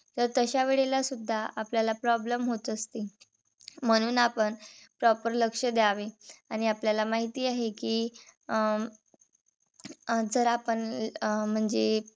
तर तशा वेळेला सुद्धा आपल्याला problem होत असतील. म्हणून आपण proper लक्ष द्यावे. आणि आपल्याला माहिती आहे कि अं अं जर आपण अं म्हणजे